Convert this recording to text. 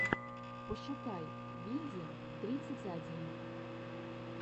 пошукай винди тридцать один